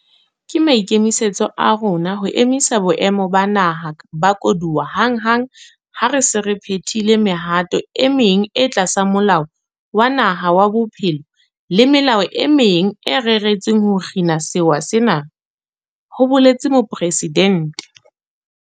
Ke maikemisetso a rona ho emisa boemo ba naha ba koduwa hanghang ha re se re phethile mehato e meng e tlasa Molao wa Naha wa Bophelo le melao e meng e reretsweng ho kgina sewa sena, ho boletse mopresidente.